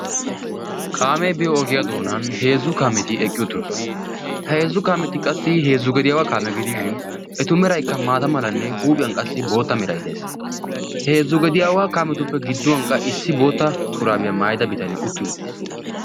kaamee biyo ogiyaa doonan heezzu kaameti eqqi uttirosona ha heezzu kaameti qassi heezzu gediyaawaa kaamee gidiishin etu meraikka maata malanne huuphiyan qassi bootta merai deaes heezzu gediyaawaa kaametuppe gidduwan qa issi bootta shuraabiyaa maayida bitanee utti uuttiis